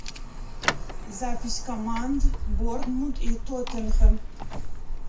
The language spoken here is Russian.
запись команд борнмут и тоттенхэм